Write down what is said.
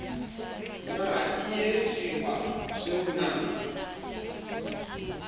na ie seoa se unang